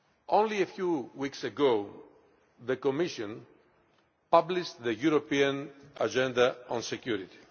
Only a few weeks ago, the Commission published the European Agenda on Security.